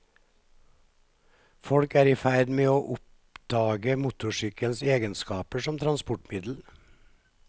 Folk er i ferd med å oppdage motorsykkelens egenskaper som transportmiddel.